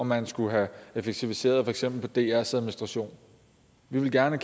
om man skulle have effektiviseret for eksempel drs administration vi ville gerne